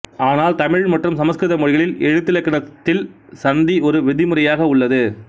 ஆனால் தமிழ் மற்றும் சமக்கிருத மொழிகளில் எழுத்திலக்கணத்தில் சந்தி ஒரு விதிமுறையாக உள்ளது